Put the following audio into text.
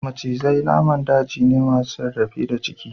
Macizai naman daji ne masu rarrafe da ciki